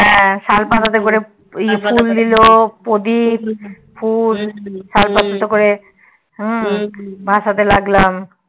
হ্যা শাল পাতাতে করে ফুল দিলো প্রদীপ ফুল শালপাতাতে করে ভাষাতে লাগলাম